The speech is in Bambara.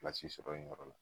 sɔrɔ yen yɔrɔ la